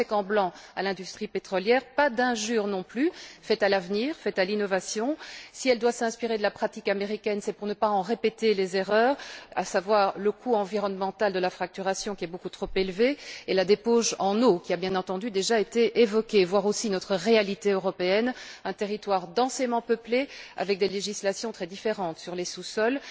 Pas de chèque en blanc à l'industrie pétrolière, pas d'injure non plus faite à l'avenir et à l'innovation. Si elle doit s'inspirer de la pratique américaine, c'est pour ne pas en répéter les erreurs, à savoir le coût environnemental de la fracturation, qui est beaucoup trop élevé, et la débauche en eau, qui a bien entendu déjà été évoquée. Nous devons aussi tenir compte de notre réalité européenne, qui est celle d'un territoire densément peuplé, avec des législations très différentes sur les sous sols.